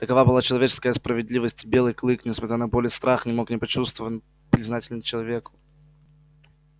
такова была человеческая справедливость и белый клык несмотря на боль и страх не мог не почувствован признателен к человеку